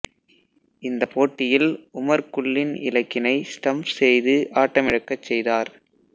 இந்தப் போட்டியில் உமர் குல்லின் இலக்கினை ஸ்டம்ப் செய்து ஆட்டமிழக்கச் செய்தார்